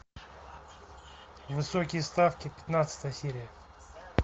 невысокие ставки пятнадцатая серия